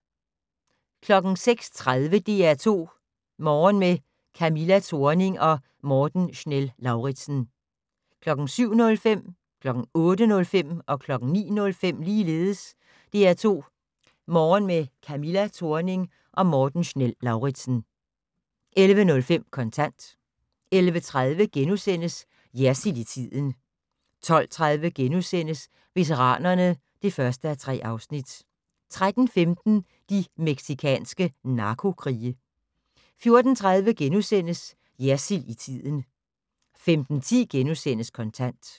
06:30: DR2 Morgen med Camilla Thorning og Morten Schnell-Lauritzen 07:05: DR2 Morgen med Camilla Thorning og Morten Schnell-Lauritzen 08:05: DR2 Morgen med Camilla Thorning og Morten Schnell-Lauritzen 09:05: DR2 Morgen med Camilla Thorning og Morten Schnell-Lauritzen 11:05: Kontant 11:30: Jersild i tiden * 12:30: Veteranerne (1:3)* 13:15: De mexicanske narkokrige 14:30: Jersild i tiden * 15:10: Kontant *